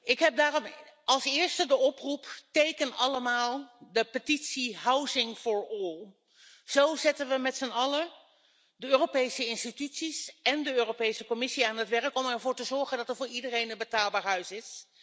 Ik doe daarom in de eerste plaats een oproep teken allemaal de petitie Housing for All. Zo zetten we met z'n allen de Europese instellingen en de Europese Commissie aan het werk om ervoor te zorgen dat er voor iedereen een betaalbaar huis is.